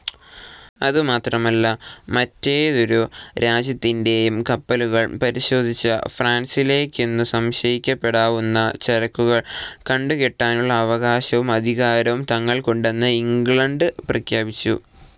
അതുമാത്രമല്ല മറ്റേതൊരു രാജ്യത്തിന്റേയും കപ്പലുകൾ പരിശോധിച്ച് ഫ്രാൻസിലേക്കെന്നു സംശയിക്കപ്പെടാവുന്ന ചരക്കുകൾ കണ്ടുകെട്ടാനുള്ള അവകാശവും അധികാരവും തങ്ങൾക്കുണ്ടെന്ന് ഇംഗ്ലണ്ട് പ്രഖ്യാപിച്ചു.